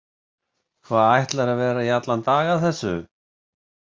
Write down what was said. Hva, ætlarðu að vera í allan dag að þessu?